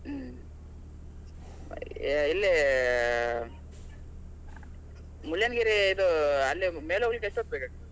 ಹ್ಮ್. ಇಲ್ಲಿ Mullayanagiri ಇದು ಅಲ್ಲೇ ಮೇಲೆ ಹೋಗ್ಲಿಕ್ಕೆ ಎಷ್ಟ್ ಹೊತ್ತ್ ಬೇಕಾಗ್ತದೆ ?